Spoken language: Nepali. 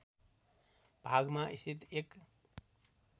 भागमा स्थित एक